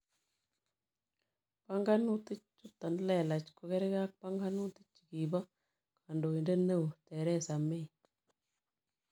Panganutik chuton lelach ko gergee ak panganutik chekibo kandoindet neeo Theresa May